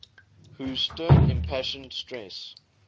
whose stern impassioned stress